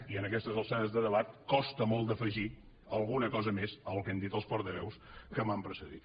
i en aquestes alçades de debat costa molt d’afegir alguna cosa més al que han dit els portaveus que m’han precedit